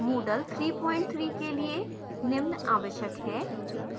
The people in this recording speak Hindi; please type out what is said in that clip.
moodle 33 के लिए निम्न आवश्यक है: